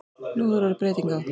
Nú hefur orðið breyting á.